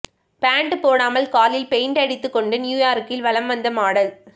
pant போடாமல் காலில் paint அடித்துக் கொண்டு நியூயார்க்கில் வலம் வந்த மாடல்